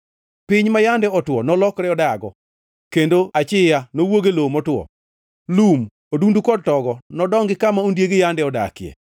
Piny ma yande otwo nolokre dago, kendo achiya nowuog e lowo motwo. Lum, odundu kod togo nodongi kama ondiegi yande odakie.